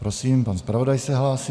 Prosím, pan zpravodaj se hlásí.